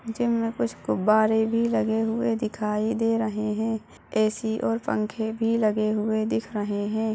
Gym में कुछ गुब्बारे भी लगे हुए दिखाई दे रहे है ए_सी और पंखे भी लगे हुए दिख रहे हैं।